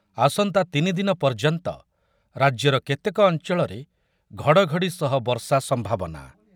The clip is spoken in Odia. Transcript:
ଆସନ୍ତା ତିନି ଦିନ ପର୍ଯ୍ୟନ୍ତ ରାଜ୍ୟର କେତେକ ଅଞ୍ଚଳରେ ଘଡ଼ ଘଡ଼ି ସହ ବର୍ଷା ସମ୍ଭାବନା